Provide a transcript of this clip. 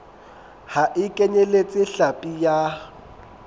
ha e kenyeletse hlapi ya